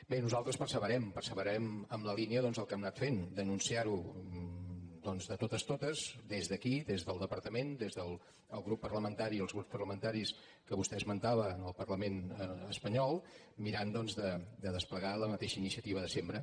bé nosaltres perseverem perseverarem en la línia doncs del que hem anat fent denunciar ho de totes totes des d’aquí des del departament des del grup parlamentari i els grups parlamentaris que vostè esmentava en el parlament espanyol mirant de desplegar la mateixa iniciativa de sempre